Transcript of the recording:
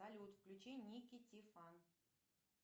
салют включи ники ти фан